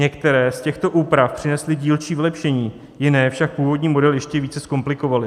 Některé z těchto úprav přinesly dílčí vylepšení, jiné však původní model ještě více zkomplikovaly.